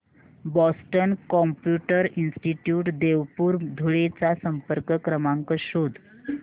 Boston computer institute Deopur Dhule चा संपर्क क्रमांक शोध